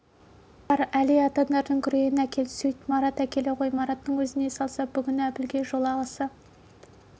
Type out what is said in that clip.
марат бар әли атаңдардың күрегін әкел сөйт марат әкеле ғой мараттың өзіне салса бүгін әбілге жолағысы